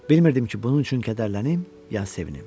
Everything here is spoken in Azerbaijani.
Bilmirdim ki, bunun üçün kədərlənim, ya sevinim.